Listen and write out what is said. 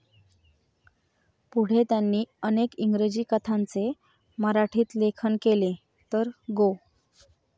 पुढे त्यांनी अनेक इंग्रजी कथांचे मराठीत लेखन केले, तर गो.